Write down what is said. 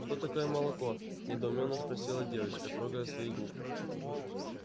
что такое молоко недоуменно спросила девочка трогая свои губы